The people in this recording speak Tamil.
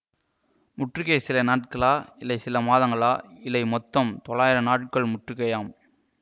முற்றுகை சில நாட்களா இல்லை சில மாதங்களா இல்லை மொத்தம் தொள்ளாயிரம் நாள்கள் முற்றுகையாம்